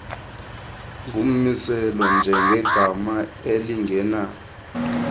ngummiselo njengegama elingena